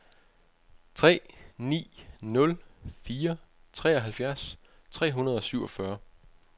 tre ni nul fire treoghalvfjerds tre hundrede og syvogfyrre